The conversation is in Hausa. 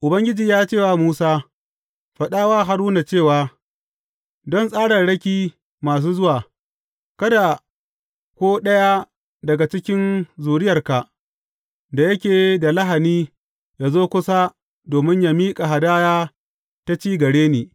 Ubangiji ya ce wa Musa, Faɗa wa Haruna cewa, Don tsararraki masu zuwa, kada ko ɗaya daga cikin zuriyarka, da yake da lahani yă zo kusa domin yă miƙa hadaya ta ci gare ni.